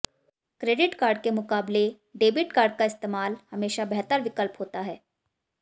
credit card के मुकाबले debit card का इस्तेमाल हमेशा बेहतर विकल्प होता है